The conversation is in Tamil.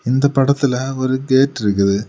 இந்த படத்துல ஒரு கேட் இருக்குது.